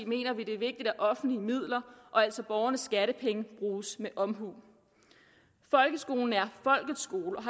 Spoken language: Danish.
mener vi det er vigtigt at offentlige midler og altså borgernes skattepenge bruges med omhu folkeskolen er folkets skole